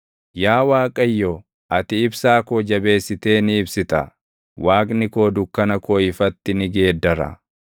Yaa Waaqayyo ati ibsaa koo jabeessitee ni ibsita; Waaqni koo dukkana koo ifatti ni geeddara.